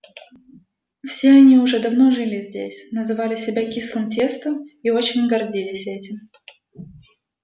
все они уже давно жили здесь называли себя кислым тестом и очень гордились этим